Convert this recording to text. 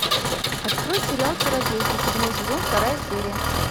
открой сериал чародейки седьмой сезон вторая серия